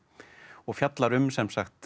og fjallar um sem sagt